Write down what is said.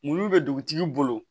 Mulu bɛ dugutigi bolo